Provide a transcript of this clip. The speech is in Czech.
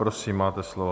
Prosím, máte slovo.